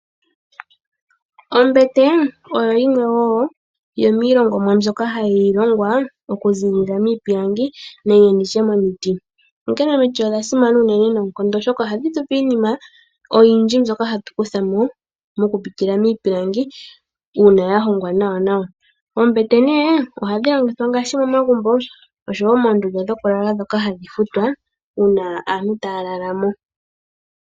Ombete oyo yimwe woo yomiilo ngonwa mbyoka hayi longwa okuziilila miipilangi nenge nditye momiti onkene omiti odha simana unene noonkondo oshoka ohadhi tupe iinima mbyoka ya longwa miipilangi ,oombete nee ohadhi adhika ngaashi momagumbo oshowo moondunda dhoka dhoku lala dhoka hadhi futwa uuna aantu taya lala mo.